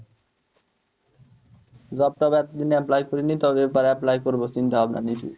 Job টব এ এতদিনে apply করিনি তবে এবার apply করবো চিন্তা ভাবনা নিছি